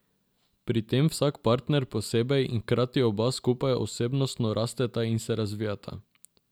Pri tem vsak partner posebej in hkrati oba skupaj osebnostno rasteta in se razvijata.